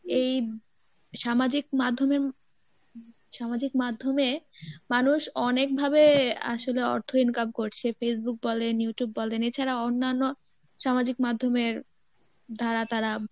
এই সামাজিক মাধ্যমে সামাজিক মাধ্যমে মানুষ অনেকভাবে আসলে অর্থ income করছে Facebook বলেন Youtube বলেন এছাড়া অন্যান্য সামাজিক মাধ্যমের দ্বারা তারা